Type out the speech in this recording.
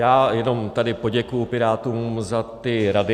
Já jenom tady poděkuji Pirátům za ty rady.